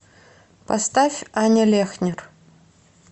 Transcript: поставь аня лехнер